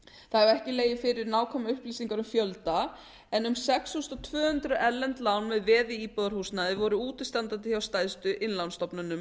það hafa ekki legið fyrir nákvæmar upplýsingar um fjölda en um sex þúsund tvö hundruð erlend lán með veði í íbúðarhúsnæði voru útistandandi hjá stærstu innlánsstofnunum